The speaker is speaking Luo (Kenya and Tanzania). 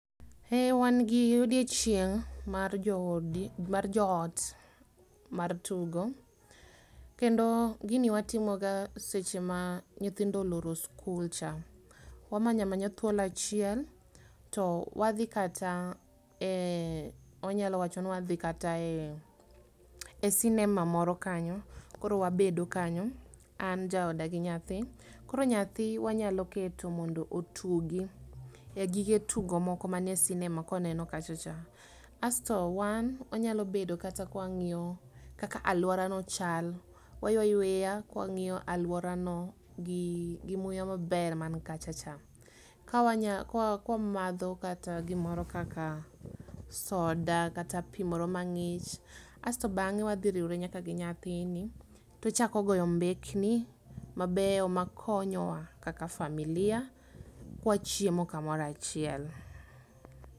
Eeh wan gi odiochieng' mar joodi mar joot mar tugo. Kendo gini watimoga seche ma nyithindo oloro skul cha. Wamanyamanya thuolo achiel to wadhi kata eh anyalo wachoni wadhi kata eh cinema moro kanyo, koro wabedo kanyo, an jaoda gi nyathi. Koro nyathi wanyalo keto mondo otugi e gige tugo moko manie cinema koneno kachacha. Asto wan, onyalo bedo kata kwang'io kaka aluorano chal. Waywa yweya kwang'io aluorano gi muya maber mankachacha. Kawanya kwa kwamadho kata gimoro kaka soda kata pii moro mang'ich, asto bang'e wadhiriwre nyaka gi nyathini tochako goyo mbekni mabeyo makonyowa kaka familia kwachiemo kamorachiel.